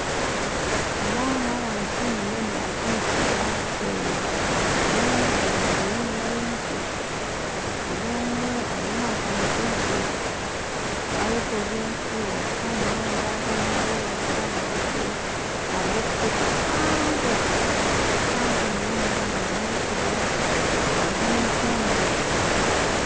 Aba n'abantu nindeeba nibaruga omu kishaaka kusheenya buri omwe ayeekoreire oruba rw'enku buri omwe ariyo natambuuza ebigyere bayeekorere enku bahika aha muhanda haaza aha muhanda hariho okuheeta kuhango munonga hariho n'ekibira hariho efuunjo